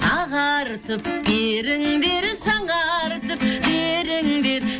ағартып беріңдер жаңартып беріңдер